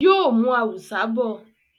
Yóò mú “ awùsá ” bọ̀.